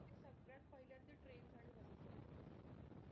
सगळ्यात पहिल्यांदी train आणि buses बंद होऊन जातात.